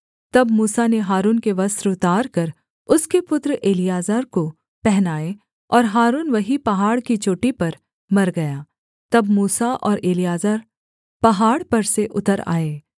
तब मूसा ने हारून के वस्त्र उतारकर उसके पुत्र एलीआजर को पहनाए और हारून वहीं पहाड़ की चोटी पर मर गया तब मूसा और एलीआजर पहाड़ पर से उतर आए